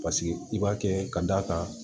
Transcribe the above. Paseke i b'a kɛ ka d'a kan